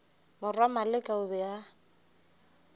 morwa maleka o be a